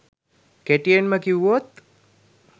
කෙටියෙන්ම කිව්වොත්